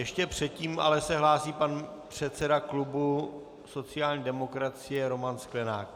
Ještě předtím se ale hlásí pan předseda klubu sociální demokracie Roman Sklenák.